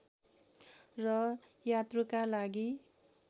र यात्रुका लागि